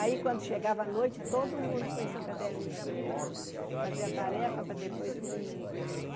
Aí quando chegava a noite, todo mundo põe seu caderninho aqui para fazer a tarefa, para depois ir dormir.